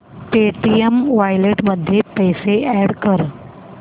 Paytm wallet मध्ये पैसे add कर